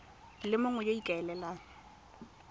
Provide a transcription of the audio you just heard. le mongwe yo o ikaelelang